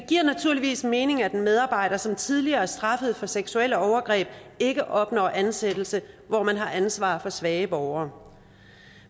giver naturligvis mening at en medarbejder som tidligere er straffet for seksuelle overgreb ikke opnår ansættelse hvor man har ansvar for svage borgere